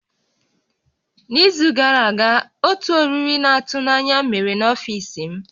N'izu gara aga, otu oriri na-atụ n'anya mere n'ọfiisi m